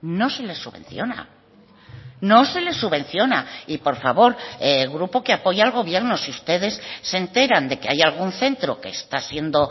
no se les subvenciona no se les subvenciona y por favor el grupo que apoya al gobierno si ustedes se enteran de que hay algún centro que está siendo